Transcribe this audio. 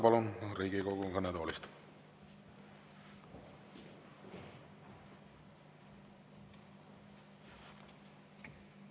Palun, Riigikogu kõnetoolist!